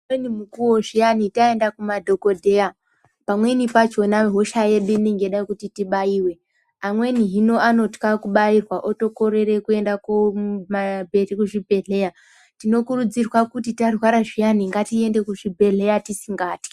Umweni mukuwo zviyani taenda kumadhogodheya pamweni pachona hosha yedu inenge yeida kuti tibaiwe amweni hino anotya kubairwa otokorera kuenda kuzvibhedhlera. Tinokurudzirwa kuti tarwara zviyani tiende kuzvibhedhlera tisingatyi.